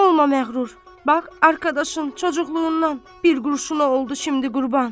Olma məğrur! Bax, arqadaşın çoçukluğundan bir qurşuna oldu şimdi qurban!